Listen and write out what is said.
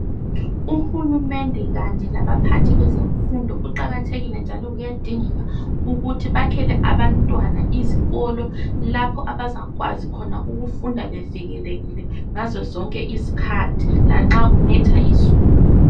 Uhulumende kanye laba phakathi bezemfundo kuqakathekile njalo kuyadingeka ukuthi bakhele abantwana izikolo lapho abazakwazi ukufunda khona bevikelekile ngazozonke izikhathi lanxa kunetha izulu.